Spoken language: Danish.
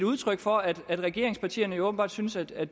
udtryk for at regeringspartierne åbenbart synes at